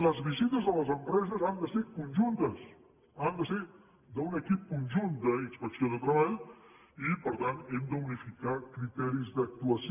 les visites a les empreses han de ser conjuntes han de ser d’un equip conjunt d’inspecció de treball i per tant hem d’unificar criteris d’actuació